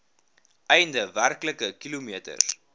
einde werklike kilometers